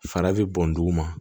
Fara bɛ bɔn dugu ma